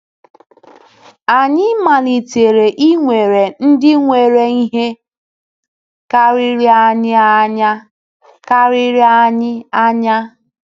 Anyị malitere inwere ndị nwere ihe karịrị anyị anya. karịrị anyị anya.